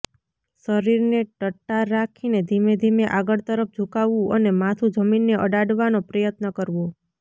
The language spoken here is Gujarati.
શરીરને ટટ્ટાર રાખીને ધીમે ધીમે આગળ તરફ ઝુકાવવું અને માથું જમીનને અડાડવાનો પ્રયત્ન કરવો